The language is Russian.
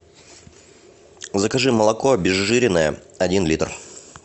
закажи молоко обезжиренное один литр